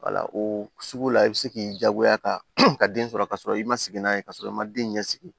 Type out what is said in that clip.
o sugu la i bɛ se k'i jagoya ka den sɔrɔ ka sɔrɔ i ma sigi n'a ye ka sɔrɔ i ma den ɲɛ sigi